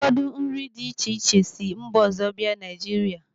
Ụfọdụ nri dị iche iche si mba ọzọ bịa Naijiria.